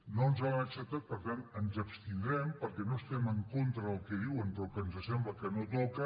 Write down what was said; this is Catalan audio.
no ens l’han acceptat per tant ens abstindrem perquè no estem en contra del que diuen però ens sembla que no toca